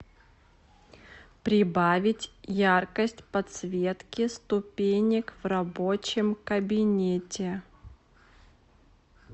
прибавить яркость подсветки ступенек в рабочем кабинете